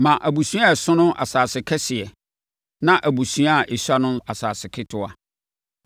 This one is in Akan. Ma abusua a ɛso no asase kɛseɛ na abusua a ɛsua no asase ketewa.